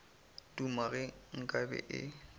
duma ge nka be e